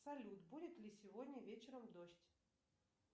салют будет ли сегодня вечером дождь